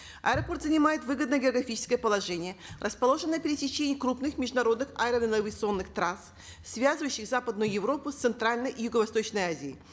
аэропорт занимает выгодное географическое положение расположен на пересечении крупных международных авианавигационных трасс связывающих западную европу с центральной и юго восточной азией